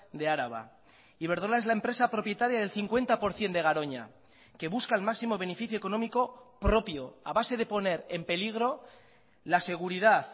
de araba iberdrola es la empresa propietaria del cincuenta por ciento de garoña que busca el máximo beneficio económico propio a base de poner en peligro la seguridad